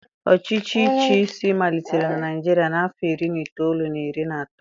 Ọchịchị ichi isi malitere na Naịjirịa n'afọ iri na itoolu na iri na anọ.